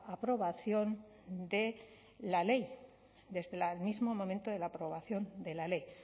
aprobación de la ley desde el mismo momento de la aprobación de la ley